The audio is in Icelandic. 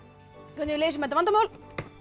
hvernig við leysum þetta vandamál